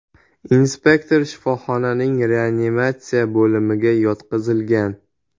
Inspektor shifoxonaning reanimatsiya bo‘limiga yotqizilgan.